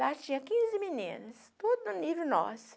Lá tinha quinze meninas, tudo no nível nosso.